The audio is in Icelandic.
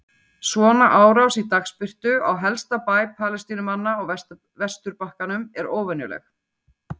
Svona árás í dagsbirtu á helsta bæ Palestínumanna á vesturbakkanum er óvenjuleg.